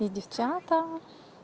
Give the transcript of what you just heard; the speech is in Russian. и девчата